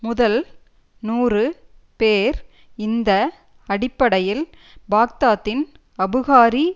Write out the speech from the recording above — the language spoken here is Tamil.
முதல் நூறு பேர் இந்த அடிப்படையில் பாக்தாத்தின் அபுகாரி